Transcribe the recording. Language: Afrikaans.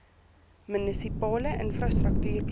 munisipale infrastruktuur program